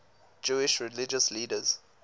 jewish religious leaders